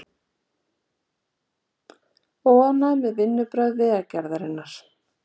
Óánægja með vinnubrögð Vegagerðarinnar